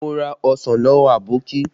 Mo ra ọsàn lọ́wọ́ Aboki